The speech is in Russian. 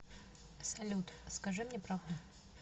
салют скажи мне правду